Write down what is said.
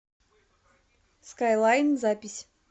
скайлайн запись